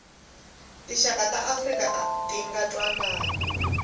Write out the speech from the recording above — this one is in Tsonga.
tinxaka ta afrika atinga ntwanani